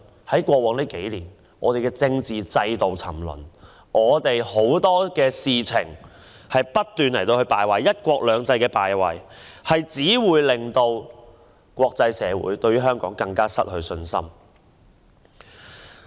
在過往數年，我們的政治制度沉淪，在許多方面不斷敗壞，"一國兩制"的敗壞令國際社會對香港更加失去信心。